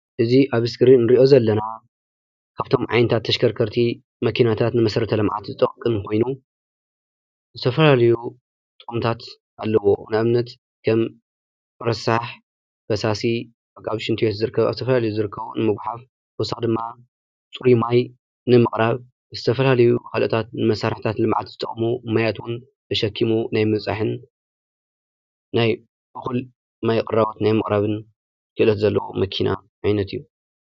እዚ ኣብ ስክሪን ንሪኦ ዘለና ካብቶም ዓይነታት ተሽከርከርቲ መኪናታት ንመሰረተ ልምዓት ዝጠቅም ኮይኑ ዝተፈላለዩ ጥቕምታት ኣለዉዎ፡፡ ንኣብነት ከም ረሳሕ ፈሳሲ ካብ ሽንቲ ቤት ዝርከብ ኣብ ዝተፈላለየ ዝርከቡ ንምጒሓፍ ብተወሳኺ ድማ ፅሩይ ማይ ንምቕራብ ዝተፈላለዩ ካልኦታት ንመሳርሕታት ልምዓት ዝጠቕሙ ማያት እውን ተሸኪሙ ናይ ምብፃሕን ናይ እኹል ማይ ቅራቦት ናይ ምቕራብን ክእለት ዘለዎ መኪና ዓይነት እዩ፡፡